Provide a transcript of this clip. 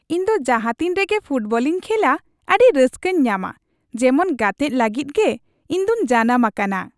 ᱤᱧ ᱫᱚ ᱡᱟᱦᱟᱛᱤᱱ ᱨᱮᱜᱮ ᱯᱷᱩᱴᱵᱚᱞᱤᱧ ᱠᱷᱮᱞᱟ, ᱟᱹᱰᱤ ᱨᱟᱹᱥᱠᱟᱹᱧ ᱧᱟᱢᱟ ᱾ ᱡᱮᱢᱚᱱ ᱜᱟᱛᱮᱜ ᱞᱟᱹᱜᱤᱫ ᱜᱮ ᱤᱧ ᱫᱚᱧ ᱡᱟᱱᱟᱢ ᱟᱠᱟᱱᱟ ᱾